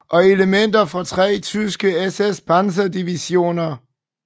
Og elementer af tre tyske SS Panzer divisioner